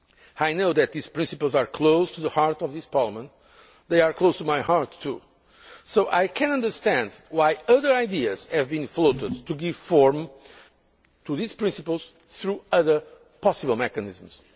need. I know that these principles are close to the heart of this Parliament. They are close to my heart too, so I can understand why other ideas have been floated to give form to these principles through other possible mechanisms.